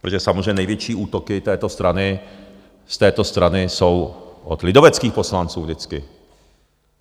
Protože samozřejmě největší útoky z této strany jsou od lidoveckých poslanců vždycky.